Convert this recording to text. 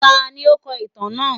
Tání o kọ ìtàn náà?